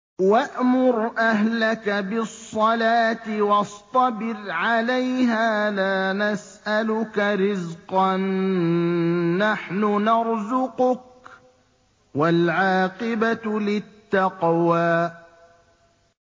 وَأْمُرْ أَهْلَكَ بِالصَّلَاةِ وَاصْطَبِرْ عَلَيْهَا ۖ لَا نَسْأَلُكَ رِزْقًا ۖ نَّحْنُ نَرْزُقُكَ ۗ وَالْعَاقِبَةُ لِلتَّقْوَىٰ